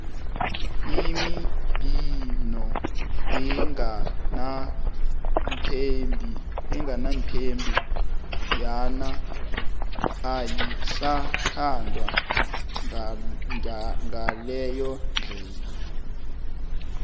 imibhino engananthombe yona ayisathandwa ngaleyo ndlela